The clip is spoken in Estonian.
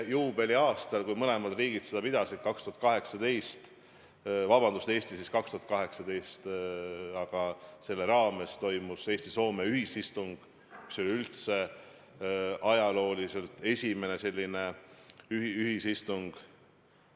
Juubeliaastal, kui Eesti pidas 2018. aastal juubelit, toimus selle raames Eesti ja Soome ühisistung, mis oli üldse ajaloos esimene selline ühisistung.